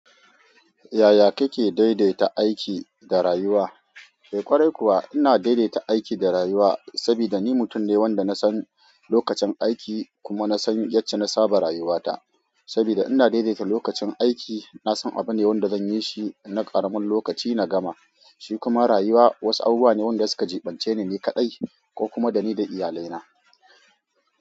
Yaya kike daidaita aiki da rayuwa? Eh ƙwarai kuwa ina daidaita aiki da rayuwa saboda ni mutum ne wanda na san lokacin aiki kuma na san yacce na saba rayuwata. Saboda ina daidaita lokacin aiki, na san abune wanda zan yi shi na ƙaramin lokaci na gama, shi kuma rayuwa wasu abubuwa ne wanda suka jiɓance ni ni kaɗai ko kuma da ni da iyalaina.